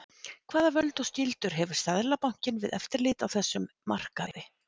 Hvaða völd og skyldur hefur Seðlabankinn við eftirlit á þessum markaði?